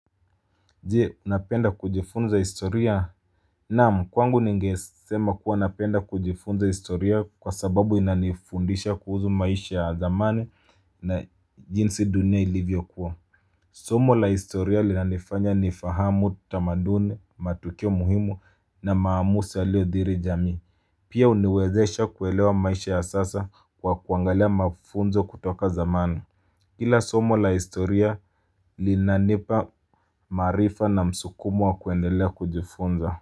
Je, unapenda kujifunza historia? Naam, kwangu ningesema kuwa napenda kujifunza historia kwa sababu inanifundisha kuhuzu maisha ya zamani na jinsi dunia ilivyo kuwa. Somo la historia linanifanya nifahamu tamaduni matukio muhimu na maamusi yalio dhiri jamii. Pia huniwezesha kuelewa maisha ya sasa kwa kuangalia mafunzo kutoka zamani. Kila somo la historia linanipa maarifa na msukumo wa kuendelea kujifunza.